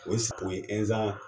O sago ye ɛnzan